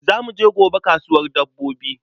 Za mu je gobe kasuwar dabbobi.